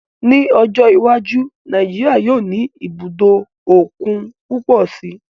Ní ọjọ́ iwájú, Nàìjíríyà yóò ní ibùdó òkun púpọ̀ si